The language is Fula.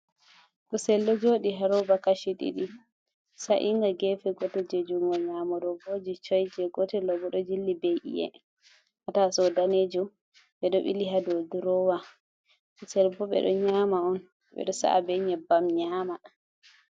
kusel do jodi haroba kashi ɗidi sa’inga gefe gote je jungo nyamo dovoji coi ,je gotel Mai bo do jilli be iye hataso danejum be do bili hado drowa kusel bo be do nyama on bedo sa’a be nyebbam nyama.